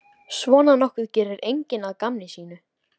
Svona nokkuð gerir enginn að gamni sínu.